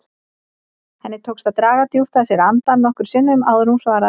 Henni tókst að draga djúpt að sér andann nokkrum sinnum áður en hún svaraði.